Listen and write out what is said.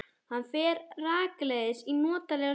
Hann fer rakleiðis í notalega sturtu.